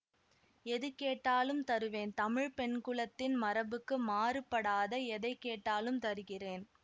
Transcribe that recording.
எது கேட்டாலும் தருவேன் தமிழ் பெண்குலத்தின் மரபுக்கு மாறுபடாத எதை கேட்டாலும் தருகிறேன்